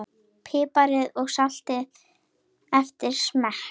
Piprið og saltið eftir smekk.